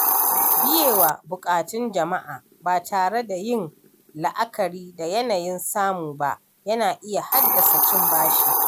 Biyewa buƙatun jama’a ba tare da yin la’akari da yanayin samu ba yana iya haddasa cin bashi.